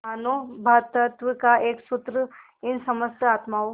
मानों भ्रातृत्व का एक सूत्र इन समस्त आत्माओं